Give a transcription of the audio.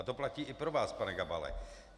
A to platí i pro vás, pane Gabale.